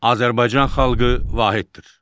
Azərbaycan xalqı vahiddir.